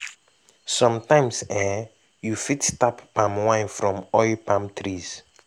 sometimes eh you fit tap palm wine from oil palm trees